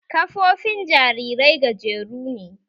Ƙafofin jarirai gajeru ne